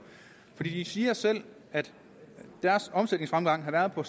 for de siger selv at deres omsætningsfremgang har været på